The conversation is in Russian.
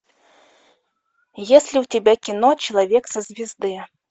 есть ли у тебя кино человек со звезды